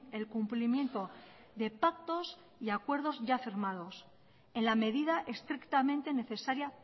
el cumplimiento de pactos y acuerdos ya firmados en la medida estrictamente necesaria